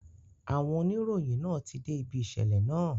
Àwọn oníròyìn náà ti dé ibi ìṣẹ̀lẹ̀ náà